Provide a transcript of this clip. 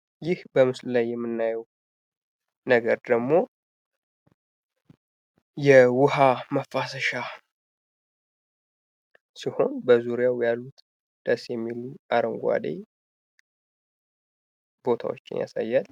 ይህ በምስሉ ላይ የምናየው ነገር ደግሞ የዉሀ ማፋሳሻ ነገር ሲሆን በዙሪያው ያሉት ደስ የሚሉ አረንጓዴ ቦታወችን ያሳያል።